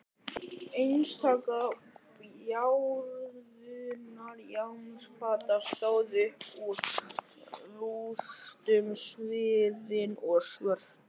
Einstaka bárujárnsplata stóð upp úr rústunum sviðin og svört.